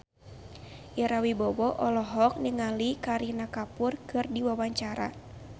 Ira Wibowo olohok ningali Kareena Kapoor keur diwawancara